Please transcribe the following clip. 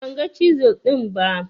Ban ga cizel ɗin ba